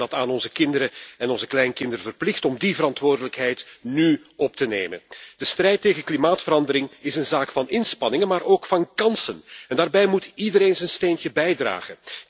We zijn het aan onze kinderen en onze kleinkinderen verplicht om die verantwoordelijkheid nu op te nemen. De strijd tegen klimaatverandering is een zaak van inspanningen, maar ook van kansen en daarbij moet iedereen zijn steentje bijdragen.